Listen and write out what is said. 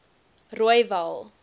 rooiwal